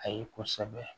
A ye kosɛbɛ